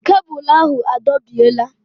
Kebụl ahụ adọbiela